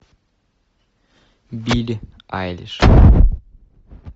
билли айлиш